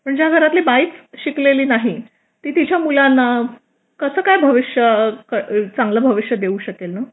पण ज्या घरातली बाईच शिकलेली नाही ती तिच्या मुलांना कसं काय भविष्य चांगलं देऊ शकते